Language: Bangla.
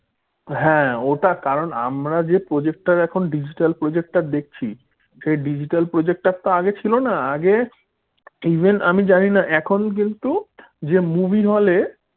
হ্যাঁ ওটা কারণ আমরা যে projector এখন digital projector দেখছি। সেই digital projector তো আগে ছিল না আগে even আমি জানিনা এখন কিন্তু যে movie hall এ